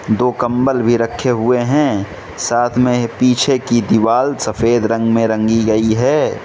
दो कंबल भी रखे हुए हैं साथ में पीछे की दीवाल सफेद रंग में रंगी गई है।